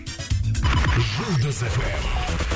жұлдыз фм